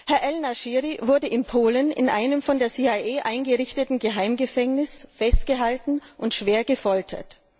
Herr el Nashiri wurde in Polen in einem von der CIA eingerichteten Geheimgefängnis festgehalten und schwer gefoltert.